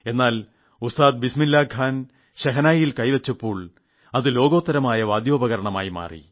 എന്നാൽ ഉസ്താദ് ബിസ്മില്ലാഖാൻ ഷെഹനായിൽ കൈവച്ചപ്പോൾ അത് ലോകാത്തരമായ വാദ്യോപകരണമായി മാറി